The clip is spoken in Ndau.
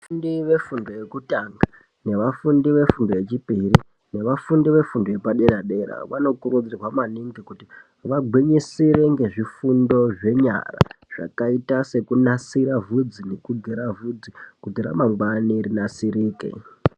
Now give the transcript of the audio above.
Vafundi vefundo yekutanga nevafundi vefundo yechipiri nevafundi vefundo yepadera dera vanokurudzirwa maningi kuti vagwinyisire nezvifundo zvenyara zvakaite sekunasire vhudzi nekugera vhudzi kuti ramangwani rinasirike.